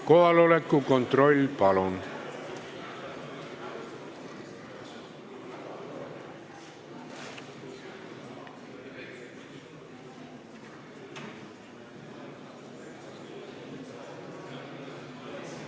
Kohaloleku kontroll, palun!